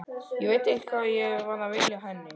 Ég veit ekki hvað ég var að vilja henni.